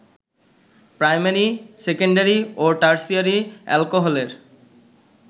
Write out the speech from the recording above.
primary, secondary ও tertiary অ্যালকোহলের